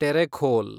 Terekhol